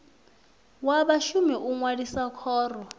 wa vhashumi u ṅwalisa khoro